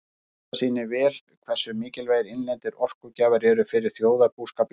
Þetta sýnir vel hversu mikilvægir innlendir orkugjafar eru fyrir þjóðarbúskap Íslendinga.